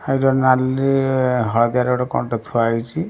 ନାଲି ହଳଦିଆର କଣ ଟେ ଥୁଆ ହେଇଛି ।